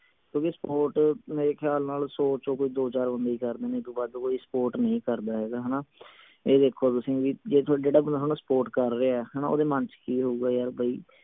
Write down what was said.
ਕਿਓਂਕਿ support ਮੇਰੇ ਖਿਆਲ ਨਾਲ ਸੌ ਚੋਂ ਕੋਈ ਦੋ ਚਾਰ ਬੰਦੇ ਹੀ ਕਰਦੇ ਨੇ। ਏਦੂੰ ਵੱਧ ਕੋਈ support ਨਹੀਂ ਕਰਦਾ ਹੈਗਾ ਹਣਾ। ਇਹ ਦੇਖੋ ਤੁਸੀਂ ਵੀ ਜੇ ਥੋਡਾ ਜਿਹੜਾ ਬੰਦਾ ਥੋਨੂੰ support ਕਰ ਰਿਹਾ ਹੈ ਓਹਦੇ ਮਨ ਚ ਕਿ ਹੋਊਗਾ ਯਾਰ ਬਈ